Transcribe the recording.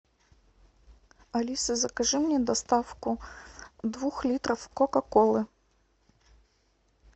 алиса закажи мне доставку двух литров кока колы